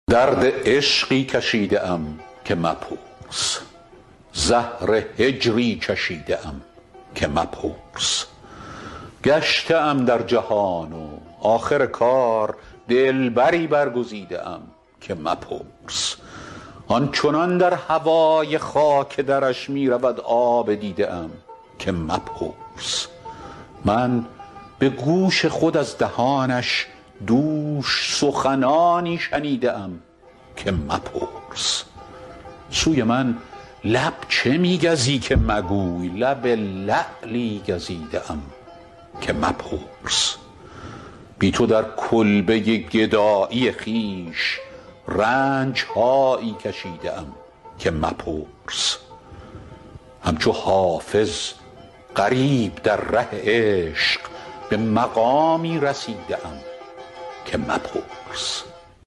درد عشقی کشیده ام که مپرس زهر هجری چشیده ام که مپرس گشته ام در جهان و آخر کار دلبری برگزیده ام که مپرس آن چنان در هوای خاک درش می رود آب دیده ام که مپرس من به گوش خود از دهانش دوش سخنانی شنیده ام که مپرس سوی من لب چه می گزی که مگوی لب لعلی گزیده ام که مپرس بی تو در کلبه گدایی خویش رنج هایی کشیده ام که مپرس همچو حافظ غریب در ره عشق به مقامی رسیده ام که مپرس